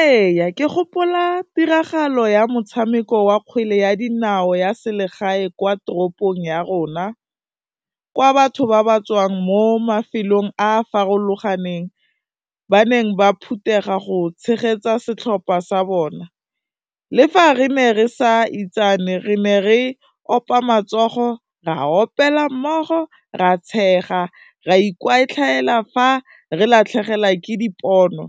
Ee ke gopola tiragalo ya motshameko wa kgwele ya dinao ya selegae kwa toropong ya rona, kwa batho ba ba tswang mo mafelong a farologaneng ba neng ba phuthega go tshegetsa setlhopha sa bona, le fa re ne re sa itsane re ne re opa matsogo, ra opela mmogo, ra tshega, ra ikwatlhaela fa re latlhegelwa ke dipono,